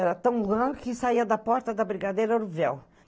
Era tão grande que saía da porta da brigadeira o véu.